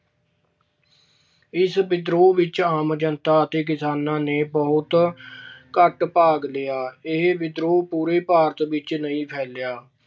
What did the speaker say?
ਇਸ ਵਿਦਰੋਹ ਵਿੱਚ ਆਮ ਜਨਤਾ ਅਤੇ ਕਿਸਾਨਾਂ ਨੇ ਬਹੁਤ ਘੱਟ ਭਾਗ ਲਿਆ। ਇਹ ਵਿਦਰੋਹ ਪੂਰੇ ਭਾਰਤ ਵਿੱਚ ਨਹੀਂ ਫੈਲਿਆ।